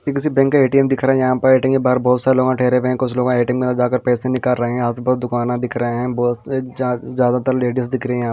किसी बैंक का ए_टी_एम दिख रहा है यहां पर ए_टी_एम के बाहर बहुत सारे लोग ठहरे हुए हैं कुछ लोग ए_टी_एम के अंदर जाकर पैसे निकाल रहे हैं आजू बाजू दुकान दिख रहे हैं बहुत ज्यादातर लेडीज दिख रहे हैं।